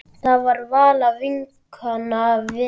Það var Vala vinkona Lillu.